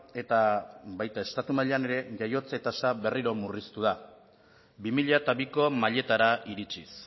eta baita estatu mailan ere jaiotze tasa berriro murriztu da bi mila biko mailetara iritsiz